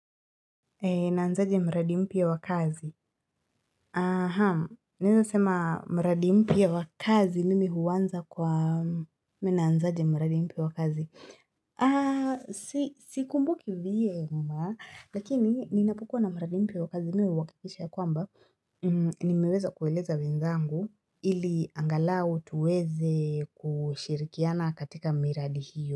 Naanzaje mradi mpya wa kazi. Aha, ninaweza sema mradi mpya wa kazi mimi huanza kwa Mi naanzaje mradi mpya wa kazi?. Aah sikumbuki vyema, lakini ninapokua na mradi mpya wa kazi mimi huhakikisha ya kwamba. Nimeweza kueleza wenzangu ili angalau tuweze kushirikiana katika miradi hiyo.